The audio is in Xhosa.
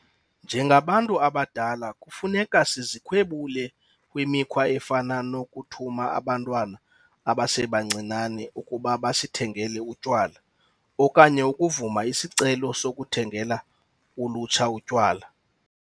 Njengabantu abadala, kufuneka sizikhwebule kwimikhwa efana nokuthuma abantwana abasebancinane ukuba basithengele utywala okanye ukuvuma izicelo zokuthengela ulutsha utywala.